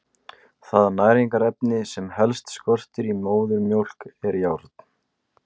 Það næringarefni sem helst skortir í móðurmjólk er járn.